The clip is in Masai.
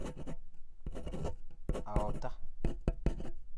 aorta.